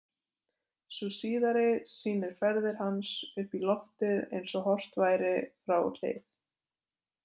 Sú síðari sýnir ferð hans upp í loftið eins og horft væri frá hlið.